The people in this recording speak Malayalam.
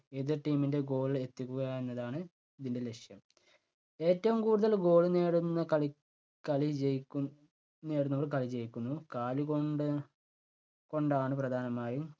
എതിർ team ൻ്റെ goal ൽ എത്തിക്കുക എന്നതാണ് ഇതിൻ്റെ ലക്ഷ്യം. ഏറ്റവും കൂടുതല് goal നേടുന്ന കളി കളി ജയിക്കും നേടുന്നവർ കളി ജയിക്കുന്നു. കാലു കൊണ്ട് കൊണ്ടാണ് പ്രധാനമായും